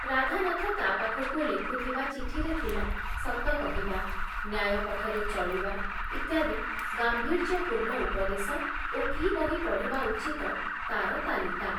ରାଧାନାଥ ତା ପାଖକୁ ଲେଖୁଥିବା ଚିଠିରେ ଥିଲା ସତ କହିବା, ନ୍ୟାୟ ପଥରେ ଚଳିବା ଇତ୍ୟାଦି ଗାମ୍ଭୀର୍ଯ୍ୟପୂର୍ଣ୍ଣ ଉପଦେଶ ଓ କି ବହି ପଢ଼ିବା ଉଚିତ ତାର ତାଲିକା ।